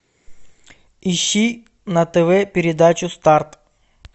ищи на тв передачу старт